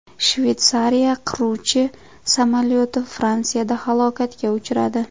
Shveysariya qiruvchi samolyoti Fransiyada halokatga uchradi.